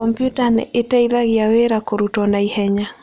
Komputa nĩ ĩteithagia wĩra kũrutwo na ihenya.